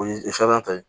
O ye ta ye